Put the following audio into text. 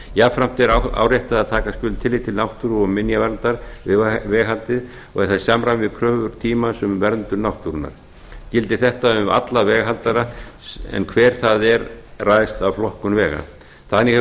jafnframt er áréttað að taka skuli tillit til náttúru og minjaverndar veghaldsins og er það í samræmi við kröfur tímans um verndun náttúrunnar gildir þetta um alla veghaldara en hver það er ræðst af flokkun vega þannig